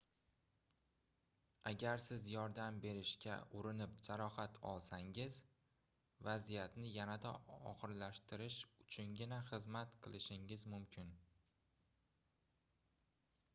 agar siz yordam berishga urinib jarohat olsangiz vaziyatni yanada ogʻirlashtirish uchungina xizmat qilishingiz mumkin